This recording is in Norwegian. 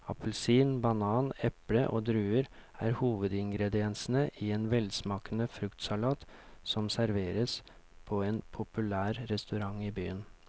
Appelsin, banan, eple og druer er hovedingredienser i en velsmakende fruktsalat som serveres på en populær restaurant i byen.